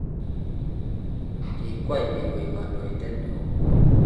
kikwei biik koek kandoindet ne oo